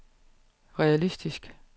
realistisk